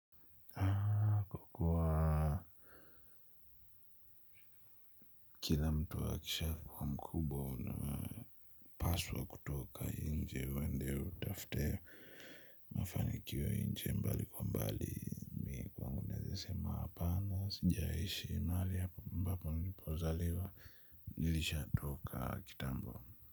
Kila mtu akisha kua mkubwa unapaswa kutoka nje uende utafte mafanikio nje mbali kwa mbali mimi kwangu naeza sema hapana sjaishi mahali ambapo nipozaliwa nilisha toka kitambo.